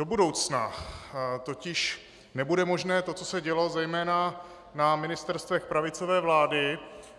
Do budoucna totiž nebude možné to, co se dělo zejména na ministerstvech pravicové vlády